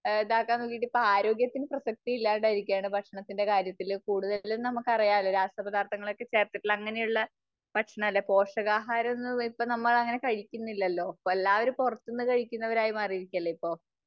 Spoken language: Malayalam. ഇതാക്കാൻ നോക്കിയിട്ട് ഇപ്പോ ആരോഗ്യത്തിന് പ്രസക്തി ഇല്ലാണ്ടായിരിക്കുകയാണ്. ഭക്ഷണത്തിന്റെ കാര്യത്തിൽ കൂടുതലും നമുക്കറിയാലോ, രാസപദാർഥങ്ങളൊക്കെ ചേർത്തിട്ടുള്ള, അങ്ങനെയുള്ള ഭക്ഷണമല്ലേ? പോഷകാഹാരം എന്നത് ഇപ്പോ നമ്മൾ അങ്ങനെ കഴിക്കുന്നില്ലല്ലോ. എല്ലാവരും പുറത്തുന്നു കഴിക്കുന്നവരായി മാറിയിരിക്കുവല്ലേ ഇപ്പോ?